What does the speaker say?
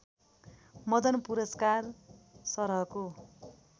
मदन पुरस्कार सरहको